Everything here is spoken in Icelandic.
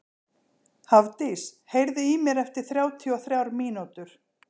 Hafdís, heyrðu í mér eftir þrjátíu og þrjár mínútur.